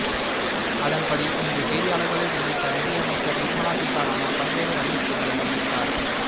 அதன்படி இன்று செய்தியாளர்களை சந்தித்த நிதி அமைச்சர் நிர்மலா சீதாராமன் பல்வேறு அறிவிப்புகளை வெளியிட்டார்